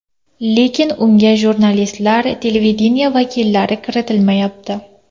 Lekin unga jurnalistlar, televideniye vakillari kiritilmayapti.